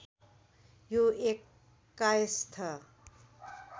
यो एक कायस्थ